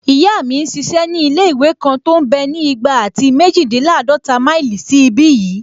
Ìyá mi n ṣiṣẹ́ ní ilé-ìwé kan tó mbẹ́ ní igba àti méjìdínláàdọ́ta máìlì sí ìbi yìí